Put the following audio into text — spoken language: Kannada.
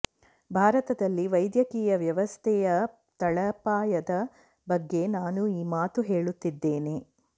ಭಾರತದಲ್ಲಿ ವೈದ್ಯಕೀಯ ವ್ಯವಸ್ಥೆಯ ತಳಪಾಯದ ಬಗ್ಗೆ ನಾನು ಈ ಮಾತು ಹೇಳುತ್ತಿದ್ದೇನೆ